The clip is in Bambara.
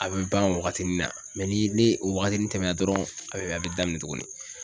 A bɛ ban o waagatini na ni ne o waagatinin tɛmɛna dɔrɔn a bɛ a bɛ daminɛ tugunni.